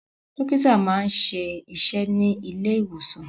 Dọ́kítá máa ń ṣiṣẹ́ ní ilé-ìwòsàn.